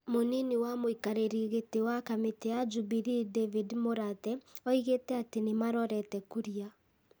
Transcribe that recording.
Mũnini wa mũikarĩri gĩtĩ wa kamĩtĩ ya Jubilee David Mũrathe oigĩte atĩ nĩ marorete Kuria ,